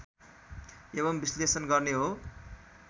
एवं विश्लेषण गर्ने हो